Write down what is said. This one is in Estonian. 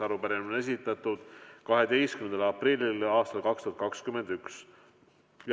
Arupärimine on esitatud 12. aprillil aastal 2021.